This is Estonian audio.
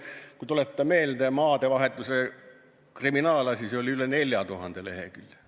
Kui tuletada meelde, siis maadevahetuse kriminaalasi oli üle 4000 lehekülje.